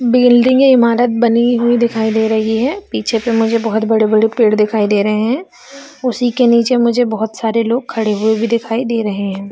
बिल्डिंगे इमारत बने हुई दिखाई दे रही है पीछे पे मुझे बहुत बड़े-बड़े पेड़ दिखाई दे रहे है उसी के नीचे मुझे बहुत सारे लोग खड़े हुए भी दिखाई दे रहे हैं।